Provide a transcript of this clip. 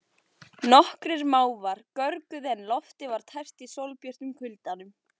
Nokkrir mávar görguðu en loftið var tært í sólbjörtum kuldanum.